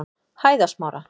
Hæðasmára